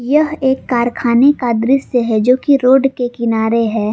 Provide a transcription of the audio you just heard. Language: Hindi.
यह एक कारखाने का दृश्य है जोकि रोड के किनारे है।